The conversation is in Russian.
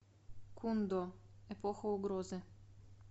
кундо эпоха угрозы